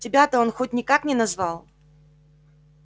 тебя-то он хоть никак не назвал